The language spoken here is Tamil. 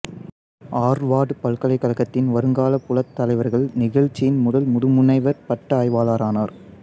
ஆர்வார்டு பல்கலைக்கழகத்தின் வருங்காலப் புலத் தலைவர்கள் நிகழ்ச்சியின் முதல் முதுமுனைவர் பட்ட ஆய்வாளரானார்